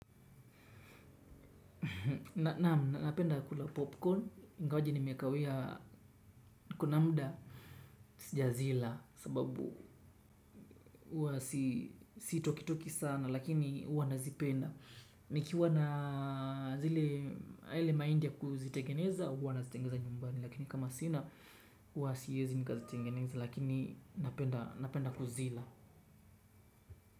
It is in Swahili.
Naam, napenda kula popcorn, ingawaji nimekawia, kuna muda, sijazila, sababu huwa sitoki toki sana, lakini huwa nazipenda. Nikiwa na yale mahindi ya kuzitengeneza, huwa nazitengeneza nyumbani, lakini kama sina huwa siwezi nikazitengeneza, lakini napenda kuzila.